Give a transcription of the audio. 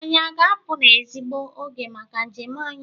Anyị a ga-apụ n'ezigbo oge maka njem anyị?